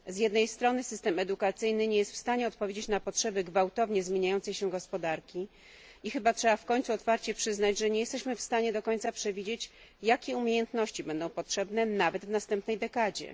Z jednej strony system edukacyjny nie jest w stanie odpowiedzieć na potrzeby gwałtownie zmieniającej się gospodarki i chyba trzeba w końcu otwarcie przyznać, że nie jesteśmy w stanie do końca przewidzieć, jakie umiejętności będą potrzebne, nawet w następnej dekadzie.